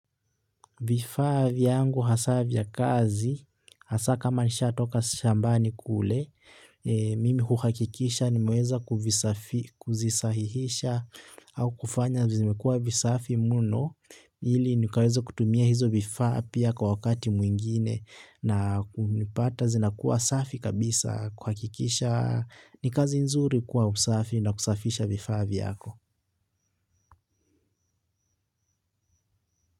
Vifaa yangu hasa vya kazi, hasa kama nishaatoka shambani kule, mimi kuhakikisha nimeweza kuzisahihisha au kufanya zimekua visafi mno, ili nikaweze kutumia hizo vifaa pia kwa wakati mwingine, na kuvipata zinakuwa safi kabisa kuhakikisha ni kazi nzuri kuwa msafi na kusafisha vifaa vyako.